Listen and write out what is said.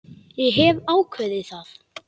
Ég hef ákveðið það.